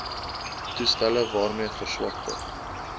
toestelle waarmee verswakte